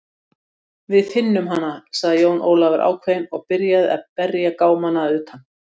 Við finnum hana, sagði Jón Ólafur ákveðinn og byrjaði að berja gámana að utan.